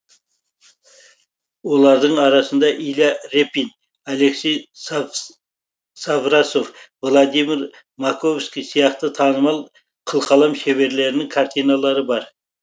олардың арасында илья репин алексей саврасов владимир маковский сияқты танымал қылқалам шеберлерінің картиналары бар